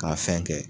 K'a fɛn kɛ